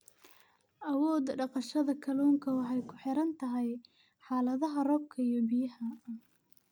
Awoodda dhaqashada kalluunka waxay ku xiran tahay xaaladaha roobka iyo biyaha.